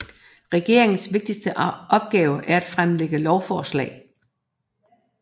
Regeringens vigtigste opgave er at fremlægge lovforslag